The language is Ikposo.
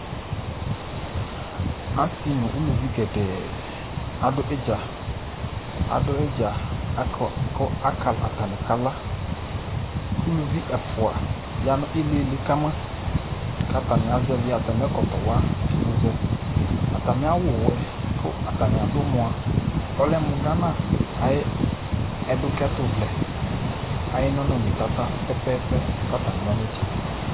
Asi nu aluvi gɛdɛɛɛ adʋ idzaAdʋ idza kʋ atani kakaKʋ uluvi ɛfua yanʋ iilili kamaKatani azɛvi atami ɛkɔtɔ wa yɔzɛAtami awu wɛ katani adʋ mua , ɔlɛ mu Ghana ayiʋ ɛdukɛtu vlɛayiʋ nɔnɔme tata pɛpɛpɛ Katani yanidza